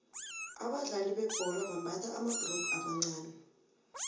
abadlali bebhola bambatha amabhurugu amancani